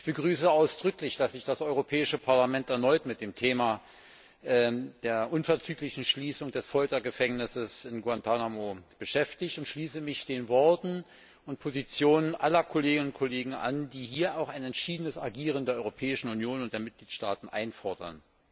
Ich begrüße ausdrücklich, dass sich das Europäische Parlament erneut mit dem Thema der unverzüglichen Schließung des Foltergefängnisses in Guantánamo beschäftigt, und schließe mich den Worten und Positionen aller Kolleginnen und Kollegen an, die hier auch ein entschiedenes Agieren der Europäischen Union und der Mitgliedstaaten einfordern.